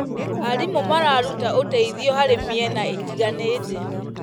Arimũ mararuta ũteithio harĩ mĩena ĩtiganĩte.